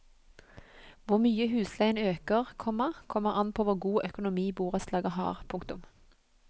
Hvor mye husleien øker, komma kommer an på hvor god økonomi borettslaget har. punktum